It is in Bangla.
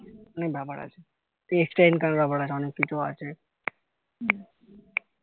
অনেক ব্যাপার আছে extra income এর ব্যাপার আছে অনেক কিছু আছে